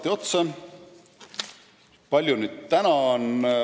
Kui suur see summa praegu on?